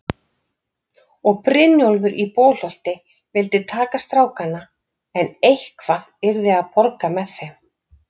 Og Brynjólfur í Bolholti vildi taka strákana, en eitthvað yrði að borga með þeim.